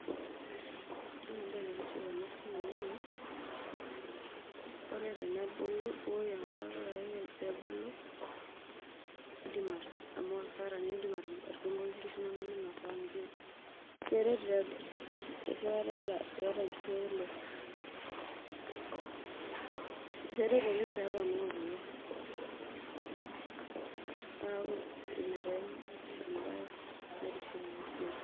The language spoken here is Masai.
Ore entoki naitiship enasiai naa ore tenebulu ibukoki ake enkare indip amu maasara atudungoki nkishu inonok meinasa amu keret tee keret iyata nkishu ekule, keret oleng peepona kule neaku inaembae naitiship enasiai.